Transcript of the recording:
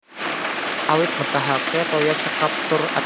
Awit mbetahaken toya cekap tur ajeg